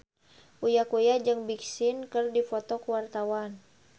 Uya Kuya jeung Big Sean keur dipoto ku wartawan